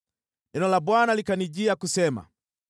Neno la Bwana likanijia kusema: